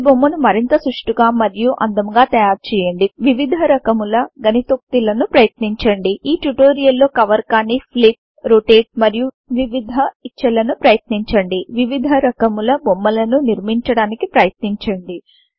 ఈ బొమ్మను మరింత సుష్ఠుగా మరియు అందముగా తయారుచేయండి వివిధ రకముల గణితోక్తి లను ప్రయత్నించండి ఈ ట్యుటోరియల్ లో కవర్ కాని ఫ్లిప్ రోటేట్ మరియు వివిధ ఇచ్చలను ప్రయత్నించండి వివిధ రకముల బొమ్మలను నిర్మించడానికి ప్రయత్నించండి